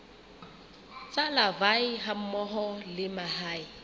tsa larvae hammoho le mahe